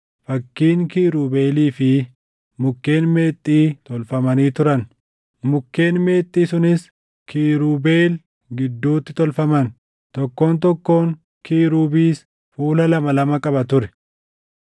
fakkiin kiirubeelii fi mukkeen meexxii tolfamanii turan. Mukkeen meexxii sunis kiirubeel gidduutti tolfaman. Tokkoon tokkoon kiirubis fuula lama lama qaba ture: